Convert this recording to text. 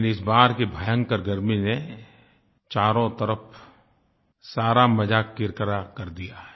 लेकिन इस बार की भयंकर गर्मी ने चारों तरफ सारा मज़ा किरकिरा कर दिया है